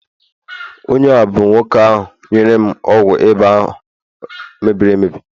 onye a bụ nwoke ahu nyere m ọgwụ ịba mebiri emebi